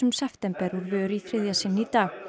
september úr vör í þriðja sinn í dag